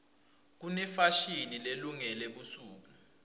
kunefashini lelungele busuku